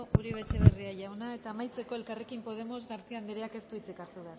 uribe etxebarria jauna eta amaitzeko elkarrekin podemos garcía andereak ez du hitzik hartu